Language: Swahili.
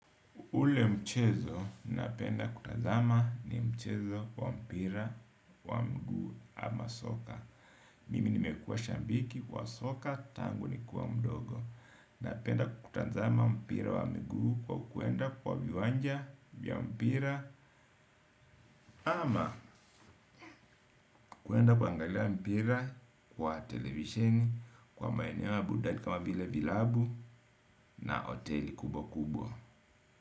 Ule mchezo napenda kutazama ni mchezo wa mpira, wa mguu ama soka. Mimi nimekuwa shabiki wa soka, tangu nikiwa mdogo. Napenda kutazama mpira wa mguu kwa kuenda kwa viwanja vya mpira ama kwenda kuangalia mpira kwa televisheni kwa maeneo ya burudani kama vile vilabu na hoteli kubwa kubwa.